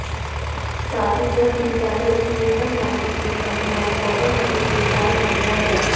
ताकि जब भी बैलेंस न्यूनतम राशि से कम हो ऑटोमैटिक रिचार्ज हो जाए